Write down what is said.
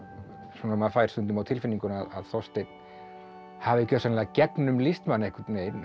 svona maður fær stundum á tilfinninguna að Þorsteinn hafi gjörsamlega gegnumlýst mann einhvern veginn